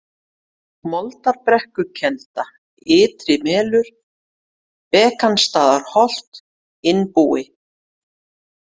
Moldbrekkukelda, Ytri-Melur, Bekansstaðaholt, Innbúi